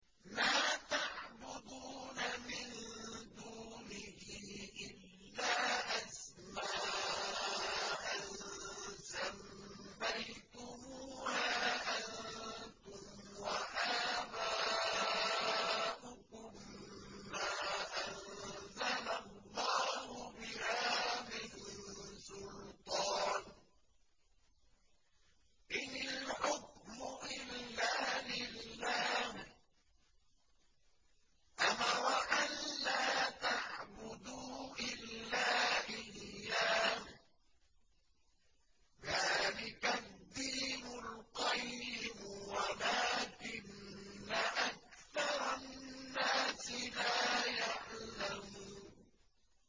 مَا تَعْبُدُونَ مِن دُونِهِ إِلَّا أَسْمَاءً سَمَّيْتُمُوهَا أَنتُمْ وَآبَاؤُكُم مَّا أَنزَلَ اللَّهُ بِهَا مِن سُلْطَانٍ ۚ إِنِ الْحُكْمُ إِلَّا لِلَّهِ ۚ أَمَرَ أَلَّا تَعْبُدُوا إِلَّا إِيَّاهُ ۚ ذَٰلِكَ الدِّينُ الْقَيِّمُ وَلَٰكِنَّ أَكْثَرَ النَّاسِ لَا يَعْلَمُونَ